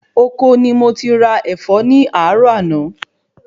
Ọkọ ni mo ti ra Ẹ̀fọ́ mi ni àárò àná